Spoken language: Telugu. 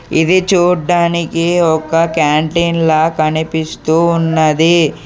ఇది చూడ్డానికి ఒక క్యాంటీన్ లా కనిపిస్తూ ఉన్నది.